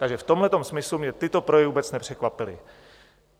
Takže v tomto smyslu mě tyto projevy vůbec nepřekvapily.